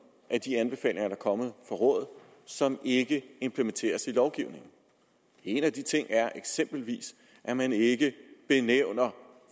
er kommet fra rådet som ikke implementeres i lovgivningen en af de ting er eksempelvis at man ikke benævner